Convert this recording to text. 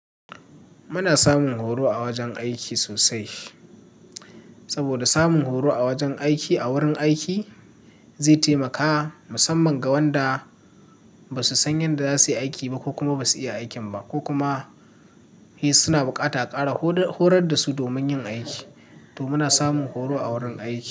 Muna samun horo a wajen aiki sosai, saboda samun horo a wajen aiki a wurin aiki zai taimaka musamman ga wanda ba su san yanda za su yi aiki ba ko kuma ba su iya aikin ba ko kuma suna buƙata a ƙara horar da su domin yin aiki. To muna samun horo a wurin aiki.